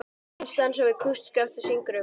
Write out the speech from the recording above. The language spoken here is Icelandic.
Einn dansar við kústskaft og syngur um